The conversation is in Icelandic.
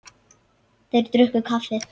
Þeir drukku kaffið.